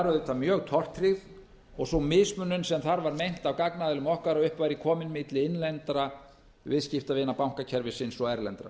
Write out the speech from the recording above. auðvitað mjög tortryggð og sú mismunun sem þar var meint af gagnaðilum okkar að upp væri komin milli innlendra viðskiptavina bankakerfisins og erlendra